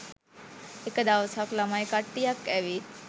එක දවසක් ළමයි කට්ටියක් ඇවිත්